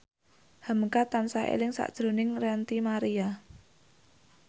hamka tansah eling sakjroning Ranty Maria